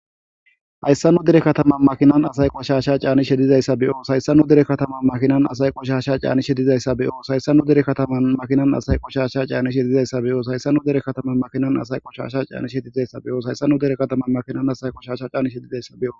hayssannu dere katama makinan asay qoshasha caani shedizayssa be7os Hayssannu dere katama makinan asay qoshasha caani shedizayssa beyos hayssannu dere kataman makinan asay qoshasha caani shedizayssa beyos hayssannu dere katama makinan asay qoshasha caani shedizayssa beyos hayssanu dere katama makinan asay qoshasha caani shedizayssabeo.